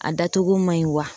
A da cogo man ɲi wa